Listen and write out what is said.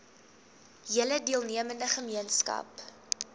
hele deelnemende gemeenskap